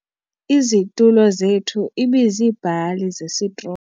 Izitulo zethu ibiziibhali zesitroyi.